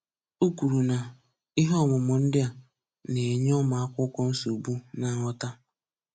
O kwuru na, [Ihe ọmụmụ ndị a] na-enye ụmụakwụkwọ nsogbu na nghọta